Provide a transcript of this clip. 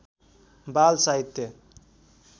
बाल साहित्य